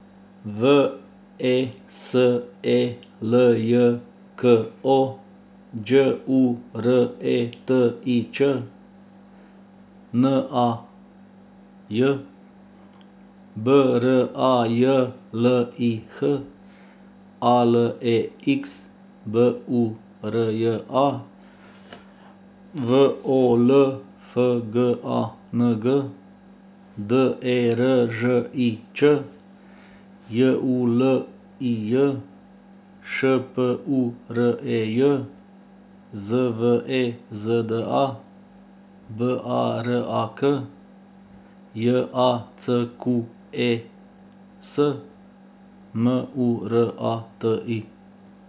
V E S E L J K O, Đ U R E T I Ć; N A Y, B R A J L I H; A L E X, B U R J A; W O L F G A N G, D E R Ž I Č; J U L I J, Š P U R E J; Z V E Z D A, B A R A K; J A C Q U E S, M U R A T I.